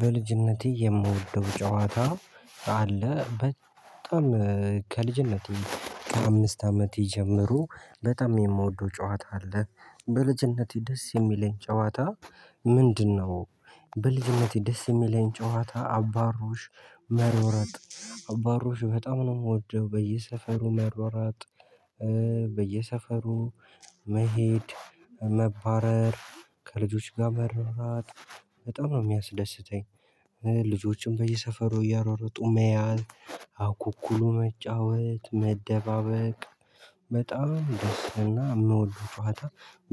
በልጅነቴ የምወደው ጨዋታ አለ። በጣም ከልጅነቴ ከአምስት አመት ጀምሮ በጣም የምወደው ጨዋታ አለ። በልጅነቴ ደስ የሚለኝ ጨዋታ ምንድነው? በልጅነቴ ደስ የሚለኝ ጨዋታ አባሮሽ መሮጥ አባሮሽ በጣም ነው የምወደው በየሰፈሩ መሯሯጥ። በየሰፈሩ መሄድ መባረር ከልጆች ጋር መሯሯጥ በጣም ነው የሚያስደስተኝ። ልጆችን በየሰፈሩ እያሯሯጡ መያዝ አኩኩሉ መጫወት መደባበቅ በጣም ደስ እና የምወደው ጨዋታ።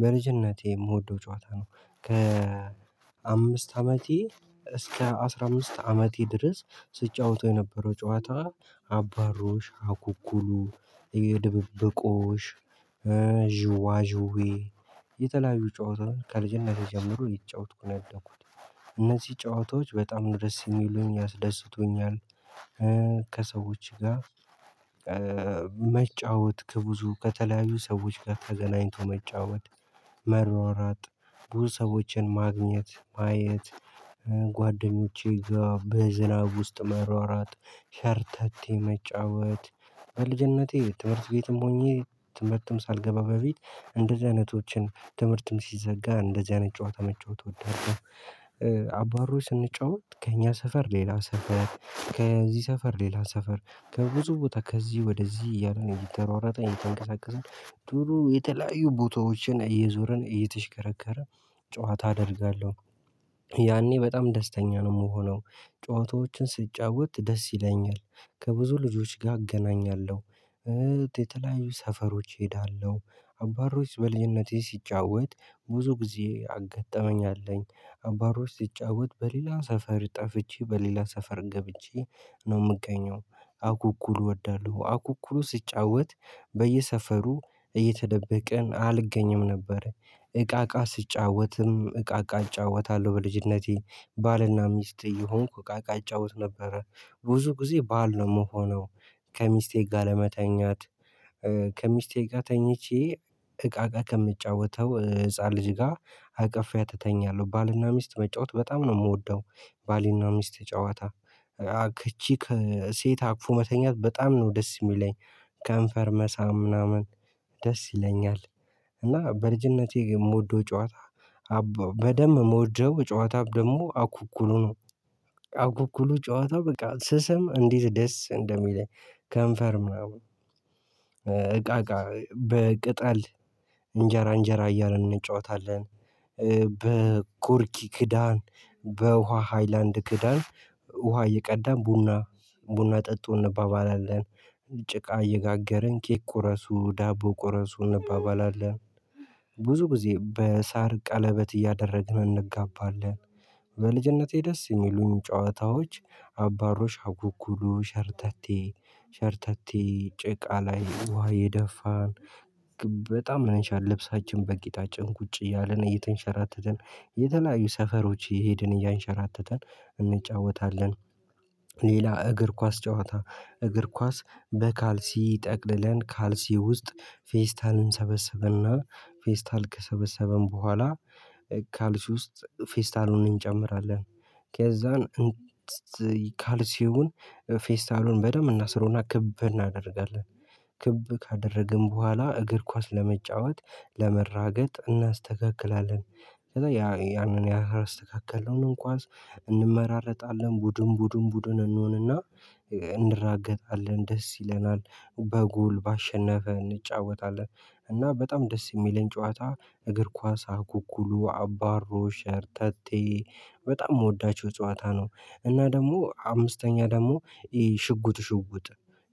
በልጅነቴ የምወደው ጨዋታ ነው። ከ አምስት አመቴ እስከ አስራ አምስት አመቴ ድረስ ስጫወተው የነበረው ጨዋታ ነው። አባሮሽ አኩኩሉ ድብብቆሽ ዥዋዥዌ የተለያዩ ጨዋታውን ከልጅነቴ ጀምሮ እየተጫወትኩ ነው ያደኩት። እነዚህ ጨዋታዎች በጣም ነው ደስ የሚሉኝ ያስደስቱኛል። ከሰዎች ጋር መጫወት ከብዙ ከተለያዩ ሰዎች ጋር ተገናኝቶ መጫወት መሯሯጥ ብዙ ሰዎችን ማግኘት ማየት። ጓደኞቼ ጋር በዝናብ ውስጥ መሯሯጥ ሸርታቴ መጫወት። በልጅነቴ ትምህርት ቤትም ሆኜ ትምህርትም ሳልገባ በፊት እንደዚህ አይነቶችን ትምህርትም ሲዘጋ እንደዚህ አይነት ጨዋታ መጫወት እወዳለው። አባሮች ስንጫወት ከእኛ ሰፈር ሌላ ሰፈር ከዚህ ሰፈር ሌላ ሰፈር ከብዙ ቦታ ከዚህ ወደዚህ እያልን እየተሯሯጥን እየተንቀሳቀሰን ዱሮ የተለያዩ ቦታዎችን እየዞርን እየተሽከረከርን ጨዋታ አደርጋለሁ። ያኔ በጣም ደስተኛ ነው የምሆነው ጨዋታዎችን ስጫወት ደስ ይለኛል። ከብዙ ልጆች ጋር አገናኛለሁ እህት የተለያዩ ሰፈሮች እሄዳለሁ አባሮሽ በልጅነቴ ስጫወት ብዙ ጊዜ ያጋጠመኝ አለ። አባሮሽ ሲጫወት በሌላ ሰፈር ጠፍቼ በሌላ ሰፈር ገብቼ ነው የምገኘው። አኩኩሉ እወዳለሁ አኩኩሉ ስጫወት በየሰፈሩ እየተደበቅን አልገኝም ነበረ። እቃቃ ስጫወትም እቃ እቃ እጫወታለሁ በልጅነቴ ባልና ሚስት እየሆን እቃ እቃ እጫወት ነበር። ብዙ ጊዜ ባል ነው የምሆነው። ከሚስቴ ጋር ለመተኛት ከሚስቴ ጋር ተኝቼ ከምጫወተው ህፃን ልጅ ጋር አቅፊያት እተኛለሁ ባልና ሚስት መጫወት በጣም ነው የምወደው። ባልና ሚስት ጨዋታ አቅፌ ሴት አቅፎ መተኛት በጣም ነው ደስ የሚለኝ። ከንፈር መሳም ምናምን ደስ ይለኛል። እና በልጅነቴ የምወደው ጨዋታ ነበር በደንብ ሞወደው ጨዋታ ደግሞ አኩኩሉ ነው። አኩኩሉ ጨዋታው በቃ ስስም እንዴት ደስ እንደሚል ከንፈርም ምናምን እቃ እቃ በቅጠል እንጀራ እንጀራ እያልን እንጫወታለን። በኮርኪ ክዳን በውሃ ሃይላንድ ክዳን ውሃ እየቀዳን ቡና ቡና ጠጡን እንባባላለን። ጭቃ እየጋገርን ኬክ ቁረሱ ዳቦ ቁረሱ እናባባላለን። ብዙ ጊዜ በሳር ቀለበት እያደረግን እንጋባለን። በልጅነቴ ደስ የሚሉኝ ጨዋታዎች አባሮሽ አኩኩሉ ሸርታቴ ሸርታቴ ጭቃ ላይ ውሃ እየደፋን በጣም ይመሻል ልብሳችን በቂጣችን ቁጭ እያለን እየተንሸራተተን የተለያዩ ሰፈሮች እየሄድን እያንሸራተትን እንጫወታለን። ሌላ እግር ኳስ ጨዋታ እግር ኳስ በካልሲ ጠቅልለን ካልሲ ውስጥ ፌስታልን እንሰበስብና ፌስታል ከሰበሰብን በኋላ ካልሲ ውስጥ ፌስታሉን እንጨምራለን ከዛን ካልሲውን ፌስታሉን በደንብ እናስሮና ክብ እናደርጋለን። ክብ ካደረግን በኋላ እግር ኳስ ለመጫወት ለመራገጥ እናስተካክላለን። ከዛ ያ ያንን ያህል አስተካክለን ኳስ እንመራረጣለን እንዲሁም ቡድን ቡድን እንሆንና እንራገጣለን ደስ ይለናል። በጎል ባሸነፈ እንጫወታለን። እና በጣም ደስ የሚለን ጨዋታ እግር ኳስ አኩኩሉ አባሮሽ ሸርተቴ በጣም የምወዳቸው ጨዋታ ነው። እና ደግሞ አምስተኛ ደግሞ ሽጉጥ ሽጉጥ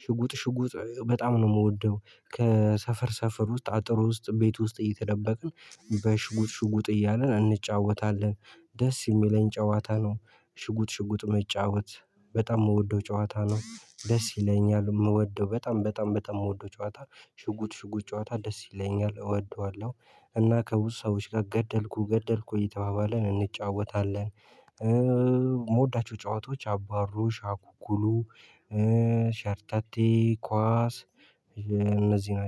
ሽጉጥ ሽጉጥ በጣም ነው የምወደው። ከሰፈር ሰፈር ውስጥ አጥር ውስጥ እንዴት ቤት ውስጥ እየተደበቅን በሽጉጥ ሽጉጥ እያልን እንጫወታለን። ደስ የሚለኝ ጨዋታ ነው። ሽጉጥ ሽጉጥ መጫወት በጣም የምወደው ጨዋታ ነው ደስ ይለኛል የምወደው በጣም በጣም በጣም የምወደው ጨዋታ ሽጉጥ ሽጉጥ ጨዋታ ደስ ይለኛል እወደዋለሁ። እና ከብዙ ሰዎች ጋር ገደልኩ ገደልኩ እየተባባለን እንጫወታለን። የምወዳቸው ጨዋታዎች አባሮሽ አኩኩሉ ሸርተቴ ኳስ እነዚህ ናቸው